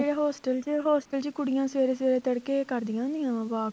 hostel ਚ hostel ਚ ਕੁੜੀਆਂ ਸਵੇਰੇ ਸਵੇਰੇ ਤੱੜਕੇ ਕਰਦੀਆਂ ਹੁੰਦੀਆਂ walk